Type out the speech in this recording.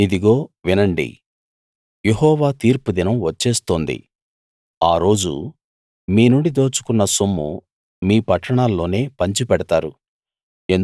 ఇదిగో వినండి యెహోవా తీర్పు దినం వచ్చేస్తోంది ఆ రోజు మీ నుండి దోచుకున్న సొమ్ము మీ పట్టణాల్లోనే పంచిపెడతారు